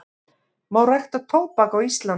Má rækta tóbak á Íslandi?